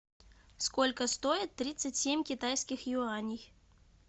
сколько стоит тридцать семь китайских юаней